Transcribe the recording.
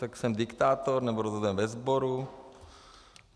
Tak jsem diktátor, nebo rozhodujem ve sboru?